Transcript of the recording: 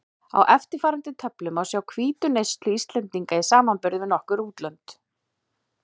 Á eftirfarandi töflu má sjá hvítuneyslu Íslendinga í samanburði við nokkur útlönd.